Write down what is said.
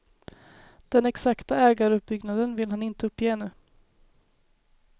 Den exakta ägaruppbyggnaden vill han inte uppge ännu.